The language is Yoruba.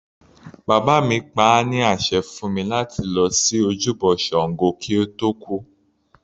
Bàbá mi pa á ní àṣẹ fún mi láti lọ sí ojúbọ ṣàngó kí ó tó kú.